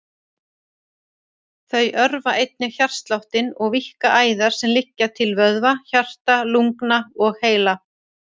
Þau örva einnig hjartsláttinn og víkka æðar sem liggja til vöðva, hjarta, lungna og heila.